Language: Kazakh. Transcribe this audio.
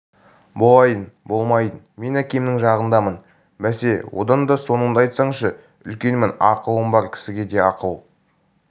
болайын болмайын мен әкемнің жағындамын бәсе одан да соныңды айтсаңшы үлкенмін ақылым бар кісіге де ақыл